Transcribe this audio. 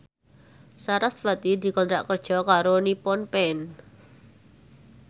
sarasvati dikontrak kerja karo Nippon Paint